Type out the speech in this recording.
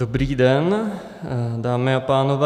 Dobrý den, dámy a pánové.